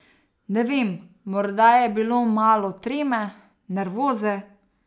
Ne vem, morda je bilo malo treme, nervoze ...